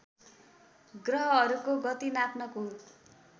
ग्रहहरूको गति नाप्नको